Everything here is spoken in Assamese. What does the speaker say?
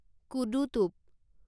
কোদো টোপ